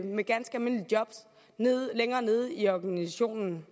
med ganske almindelige job længere nede i organisationen